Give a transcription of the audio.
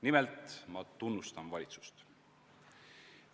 Nimelt, ma tunnustan valitsust.